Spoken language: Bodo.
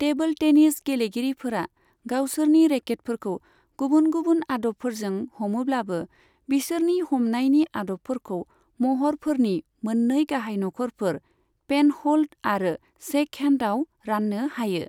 टेबोल टेनिस गेलेगिरिफोरा गावसोरनि रेकेटफोरखौ गुबुन गुबुन आदबफोरजों हमोब्लाबो, बिसोरनि हमनायनि आदबफोरखौ महरफोरनि मोननै गाहाय नखरफोर, पेनह'ल्ड आरो शेकहेण्डआव राननो हायो।